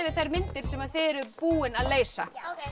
þær myndir sem þið eruð búin að leysa